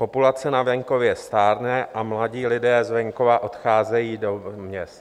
Populace na venkově stárne a mladí lidé z venkova odcházejí do měst.